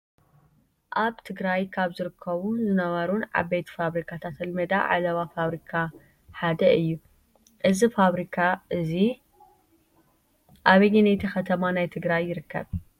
ኣብ ትግራይ ካብ ዝርከቡን ዝነበሩን ዓበይቲ ፋብሪካታት ኣልመዳ ዓለባ ፋብሪካ ሓደ እዩ፡፡ እዚ ፋብሪካ እዚ ኣበየነይቲ ከተማ ናይ ትግራይ ይርከብ?